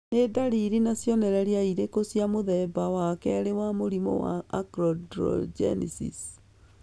Nĩ ndariri na cionereria irĩkũ cia mũthemba wa kerĩ wa mũrimũ wa Achondrogenesis